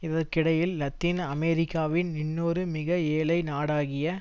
இதற்கிடையில் லத்தின் அமெரிக்காவின் இன்னொரு மிகஏழை நாடாகிய